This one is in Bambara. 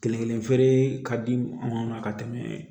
Kelen kelen feere ka di anw ma ka tɛmɛ